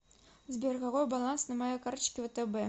сбер какой баланс на моей карточке втб